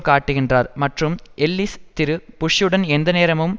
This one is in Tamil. காட்டுகின்றார் மற்றும் எல்லிஸ் திரு புஷ்ஷுடன் எந்தநேரமும்